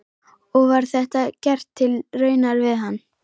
Og var þetta gert til raunar við hann.